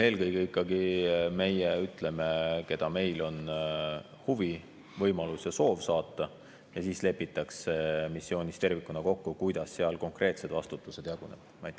Eelkõige ikkagi meie ütleme, keda meil on huvi, võimalus ja soov saata, ja siis lepitakse missioonis tervikuna kokku, kuidas seal konkreetsed vastutused jagunevad.